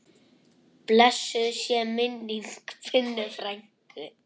Blessuð sé minning Binnu frænku.